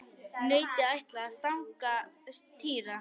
Nautið ætlaði að stanga Týra.